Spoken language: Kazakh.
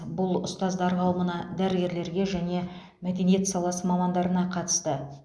бұл ұстаздар қауымына дәрігерлерге және мәдениет саласы мамандарына қатысты